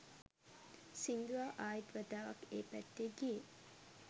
සිංදුවා ආයිත් වතාවක් ඒ පැත්තේ ගියේ